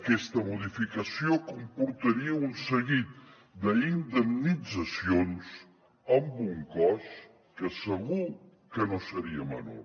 aquesta modificació comportaria un seguit d’indemnitzacions amb un cost que segur que no seria menor